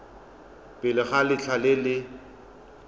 pele ga letlha le le